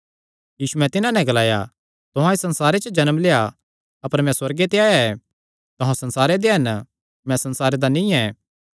यीशुयैं तिन्हां नैं ग्लाया तुहां इस संसारे च जन्म लेआ अपर मैं सुअर्गे ते आया ऐ तुहां संसारे दे हन मैं संसार दा नीं ऐ